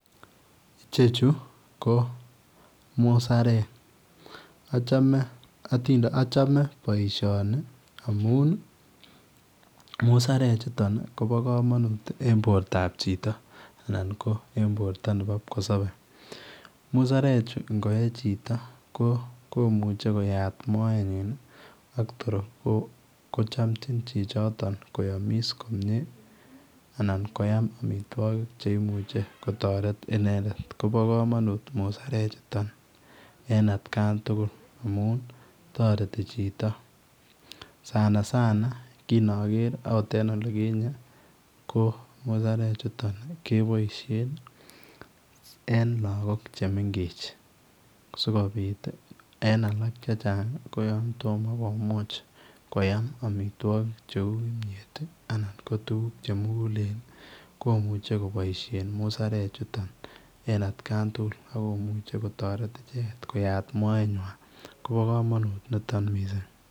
Ichechuu ii ko musarek achame boisioni amuun ii musarek chutoon ii kobaa kamanuut en borto ab chitoo, anan ko en borto nebo kipkosabe, musarek chuu ko ko yee chitoo komuchei koyaam moet nyiin ii ak toor kochamjiin chichotoon koyamis komyei anan koyaam amitwagiik cheimuuch kotaret inendet kobaa kamanuut musarek chutoon en at kaan tugul amuun taretii chitoo Sana sana kinager akot en olikinyei musarek chutoon kebaisheen en lagook che mengech sikobiit ii en alaak che chaang ko yaan tomah komuuch komuuch koyaam amitwagiik che uu kimyeet anan tuguuk che mugulen komuchei kobaisheen musarek chutoon en at Khan tuguul akomuchei kotaret ichegeet koyaat moet nywaany kobaa kamanut nitoon missing.